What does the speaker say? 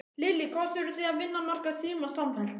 Lillý: Hvað þurfið þið að vinna marga tíma samfellt?